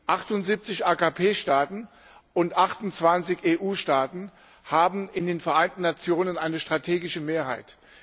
78 AKP Staaten und 28 EU Staaten haben in den Vereinten Nationen eine strategische Mehrheit.